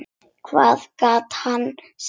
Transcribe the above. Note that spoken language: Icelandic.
Hvað gat hann sagt?